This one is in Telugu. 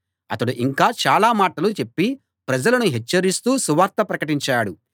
అతడు ఇంకా చాలా మాటలు చెప్పి ప్రజలను హెచ్చరిస్తూ సువార్త ప్రకటించాడు